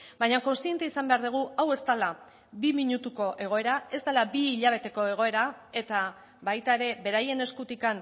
baina kontziente izan behar dugu hau ez dela bi minutuko egoera ez dela bi hilabeteko egoera eta baita ere beraien eskutik